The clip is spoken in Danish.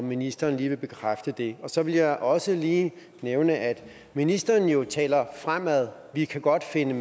ministeren lige bekræfte det så vil jeg også lige nævne at ministeren jo taler fremad vi kan godt finde